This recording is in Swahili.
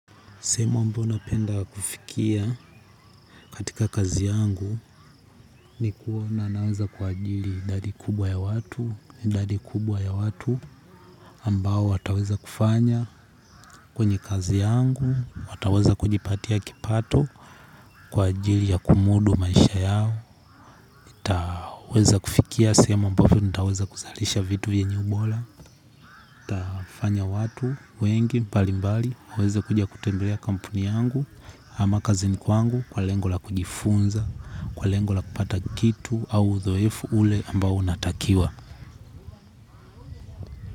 Sehemu ambao napenda kufikia katika kazi yangu ni kuona naweza kuajiri idadi kubwa ya watu, idadi kubwa ya watu ambao wataweza kufanya kwenye kazi yangu, wataweza kujipatia kipato kwa ajili ya kumudu maisha yao. Itaweza kufikia sehemu ambapo nitaweza kuzalisha vitu vyenye umbora. Itafanya watu wengi mbalimbali waweze kuja kutembelea kampuni yangu. Ama kazini kwangu kwa lengo la kujifunza. Kwa lengo la kupata kitu au uzoefu ule ambao unatakiwa.